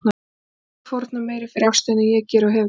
Enginn getur fórnað meiru fyrir ástina en ég geri og hef gert.